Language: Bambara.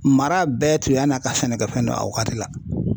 Mara bɛɛ tun yan n'a ka sɛnɛkɛfɛn no a wagati la.